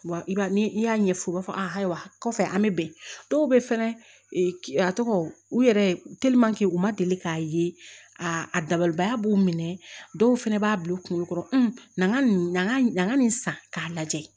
Ni i y'a ɲɛf'u ye u b'a fɔ ayiwa kɔfɛ an bɛ bɛn dɔw bɛ fɛnɛ a tɔgɔ u yɛrɛ u ma deli k'a ye aa a dabalibaya b'u minɛ dɔw fana b'a bila u kunkolo kɔrɔ nin ka nin ka n ka nin san k'a lajɛ